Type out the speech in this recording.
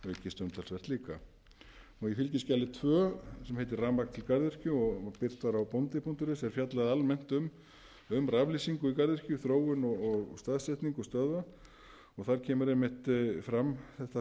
aukist umtalsvert líka í fskj tvö sem heitir rafmagn til garðyrkju og birt var á bondi punktur is er fjallað almennt um raflýsingu í garðyrkju þróun og staðsetningu stöðva og þar kemur einmitt